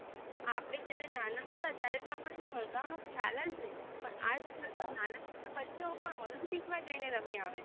આપડે જયારે નાના હતા ત્યારે તો આપણ ને સ્પર્ધા નો ખ્યાલ જ નહિ પણ આજ કલ ના નાના નાના પણ olympic માં જઈને રમી આવે છે.